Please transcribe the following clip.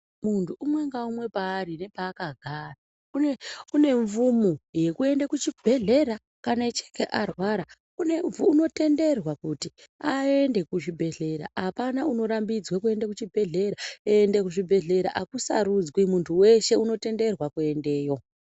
Munthu umwe naumwe paari nepakagara une mvumo yekuenda kuchibhedhlera kana echinge arwara unotenderwa kuti aende kuchibhedhlera apana unorambidzwa kuende kuzvibhedhkera akusarudzwi munhu weshe unotendedzwa kuendeyo.